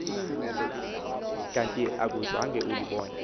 kanti akungeze ulibone